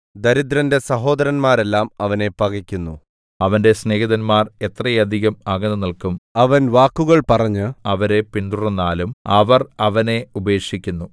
ദരിദ്രന്റെ സഹോദരന്മാരെല്ലാം അവനെ പകക്കുന്നു അവന്റെ സ്നേഹിതന്മാർ എത്രയധികം അകന്നുനില്ക്കും അവൻ വാക്കുകൾ പറഞ്ഞ് അവരെ പിന്തുടർന്നാലും അവർ അവനെ ഉപേക്ഷിക്കുന്നു